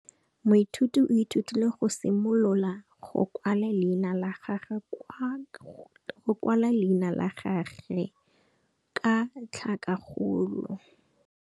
Moithuti o ithutile go simolola go kwala leina la gagwe ka tlhakakgolo.